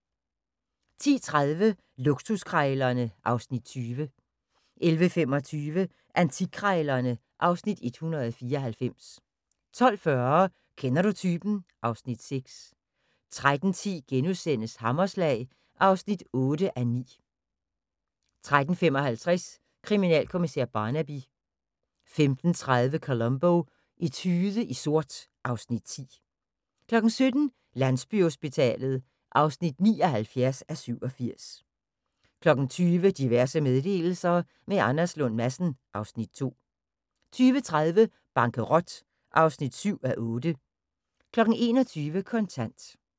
10:30: Luksuskrejlerne (Afs. 20) 11:25: Antikkrejlerne (Afs. 194) 12:40: Kender du typen? (Afs. 6) 13:10: Hammerslag (8:9)* 13:55: Kriminalkommissær Barnaby 15:30: Columbo: Etude i sort (Afs. 10) 17:00: Landsbyhospitalet (79:87) 20:00: Diverse meddelelser – med Anders Lund Madsen (Afs. 2) 20:30: Bankerot (7:8) 21:00: Kontant